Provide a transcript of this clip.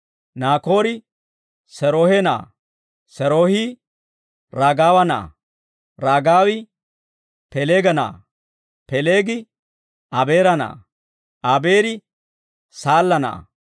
Naakoori Seeroohe na'aa; Seeroohi Ragawa na'aa; Ragawi Pelega na'aa; Pelegi Abeera na'aa; Abeeri Saalla na'aa;